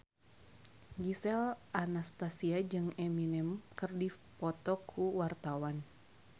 Gisel Anastasia jeung Eminem keur dipoto ku wartawan